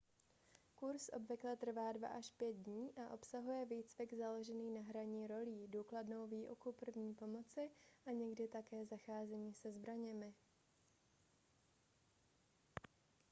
kurz obvykle trvá 2-5 dní a obsahuje výcvik založený na hraní rolí důkladnou výuku první pomoci a někdy také zacházení se zbraněmi